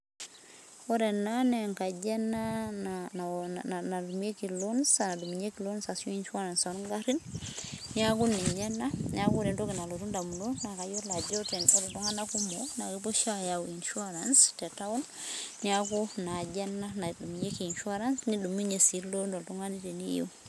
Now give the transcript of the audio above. Ore ena naa enkaji ena natumieki ashu nadumunyieki loans arashu ilooni ashuu insurance loongarin. Niaku ninye ena. Niaku ore entoki nalotu ndamunot naakayiolo ajo ore iltunganak kumok naa kepuo oshi aayau insurance te town niaku inaaji ena nadumunyieki insurance nidumunyie sii loan oltungani teniyieu